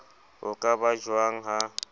ho ka ba jwang ha